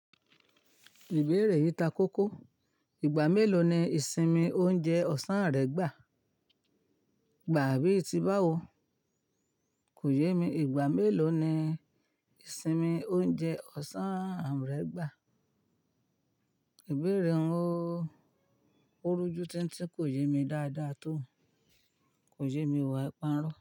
Ìbéèrè yìí ta kókó. Igba melo ni ìsinmi oúnjẹ ọ̀sán rẹ gba? Gba bí ti báwo. Ko ye mi. Igba melo ni ìsinmi oúnjẹ ọ̀sán rẹ gba? Ìbéèrè un o o rujú tín tín kò yé mi dáadáa tó. Kò yẹ mi ọ ai pa irọ́.